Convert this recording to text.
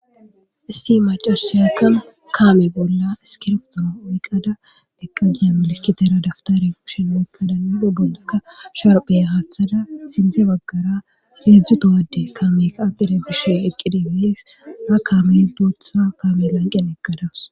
issi macarshayakka kaame bolla iskirptona wiqada eqqajiyamolikitera daftare shin iiqadanabu bollakka sharphey haaththada sinze baggara feedzdzutowadde kaame kaaqide bishe eqqide gees ra kaamel doothsa kaame lanqen eqqadawus